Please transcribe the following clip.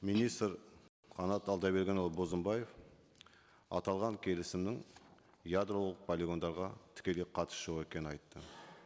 министр қанат алдабергенұлы бозымбаев аталған келісімнің ядролық полигондарға тікелей қатысы жоқ екенін айтты